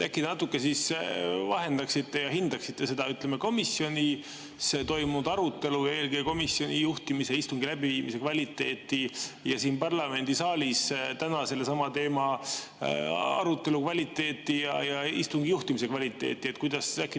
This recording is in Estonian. Äkki te natuke vahendaksite ja hindaksite seda komisjonis toimunud arutelu, eelkõige komisjoni juhtimise ja istungi läbiviimise kvaliteeti ning siin parlamendisaalis täna sellesama teema arutelu kvaliteeti ja istungi juhtimise kvaliteeti?